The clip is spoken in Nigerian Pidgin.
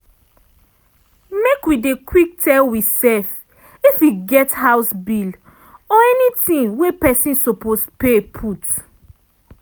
make wi dey quick tell we self if e get house bill or anything wey pesin suppose pay put.